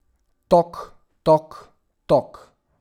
Tok, tok, tok.